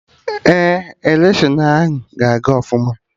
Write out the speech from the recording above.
Ee, electiọnụ ahụ ga aga ọfụma